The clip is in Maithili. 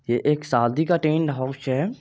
ये एक शादी का टेंडहाउस है।